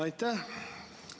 Aitäh!